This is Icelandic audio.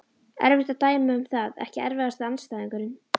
Erfitt að dæma um það Ekki erfiðasti andstæðingur?